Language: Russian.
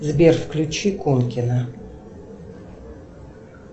сбер включи конкина